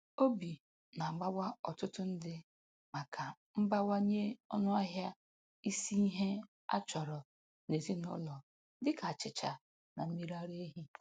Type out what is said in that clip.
Obi na-agbawa ọtụtụ ndị maka mbawanye ọnụahịa isi ihe a chọrọ n'ezinụlọ dịka achịcha na mmiri ara ehi.